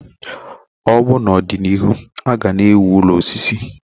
Ọbụna na ọdịnihu a ga na ewu ụlọ osisi.